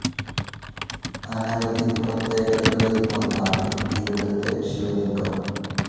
അനവധി പ്രത്യേകതകളിൽ ഒന്നാണ് ഇവിടെത്തെ ശിവലിംഗം.